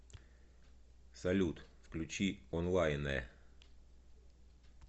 салют включи онлайнэ